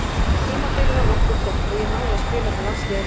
Tímabilið var nokkuð gott og ég náði að spila með landsliðinu.